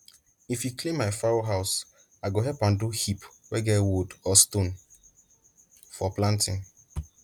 if e clean my fowl house i go help am do heap wey get wood or stone for planting